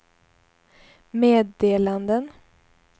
meddelanden